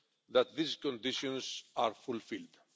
that these conditions are fulfilled.